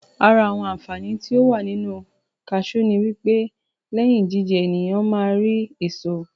Àra àwọn Àǹfàani tí ó wà nínu kasiú ni wípé lẹ́yìn jíjẹ, ènìyàn ma á rí èso